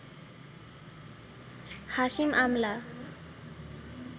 Hashim Amla